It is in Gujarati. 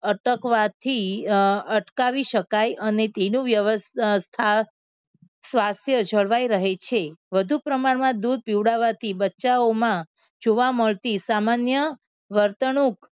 અટકવાથી અમ અટકાવી શકાય અને તેનો વ્ય અમ સ થા સ્વાસ્થ્ય જળવાઈ રહે છે. વધુ પ્રમાણમાં દૂધ પીવડાવાથી બચ્ચાઓમાં જોવા મળતી સામાન્ય વર્તણુક